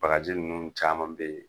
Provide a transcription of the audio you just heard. Bagaji ninnu caaman be ye